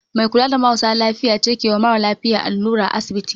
Mai kula da marasa lafiya ce kewa mara lafiya allura a asibiti